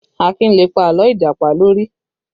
Akin lè pa àlọ́ Ìjàpá lórí